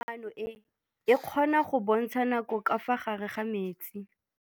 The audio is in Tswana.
Toga-maanô e, e kgona go bontsha nakô ka fa gare ga metsi.